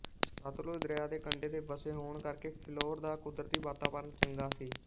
ਸਤਲੁਜ ਦਰਿਆ ਦੇ ਕੰਢੇ ਤੇ ਵਸੇ ਹੋਣ ਕਰਕੇ ਫਿਲੌਰ ਦਾ ਕੁਦਰਤੀ ਵਾਤਾਵਰਨ ਚੰਗਾ ਸੀ